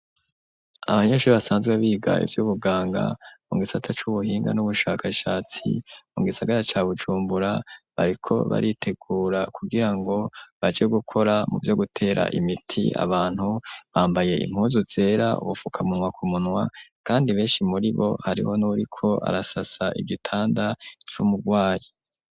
Abanyeshuri basanzwe biga ivy'ubuganga, mu gisata c'ubuhinga n'ubushakashatsi, mu gisagara ca Bujumbura, bariko baritegura kugira ngo baje gukora mu vyo gutera imiti abantu; bambaye impuzu zera, ubufukamunwa ku munwa, kandi benshi muri bo, hariho n'uwuriko arasasa igitanda c'umugwayi.